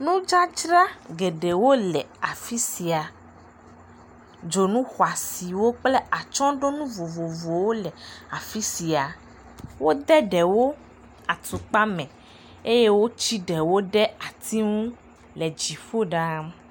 nudzadzra geɖewo le afisia dzonu xoasiwo kple atsɔɖonu vovovowo le afisia wó de ɖewo atukpa me eye wó ti ɖewo ɖe dziƒo ɖaa